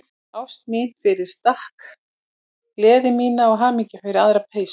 Ást mína fyrir stakk, gleði mína og hamingju fyrir aðra peysu.